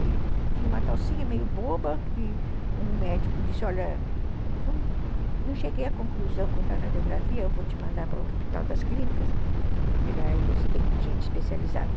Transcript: Ele tinha uma tocinha meio boba que um médico disse, olha, não cheguei à conclusão quanto à radiografia, eu vou te mandar para o hospital das clínicas, porque lá eles têm gente especializada.